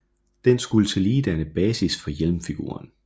Den skulle tillige danne basis for hjelmfiguren